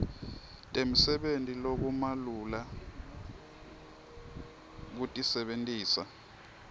temsebenti lokumalula kutisebentisa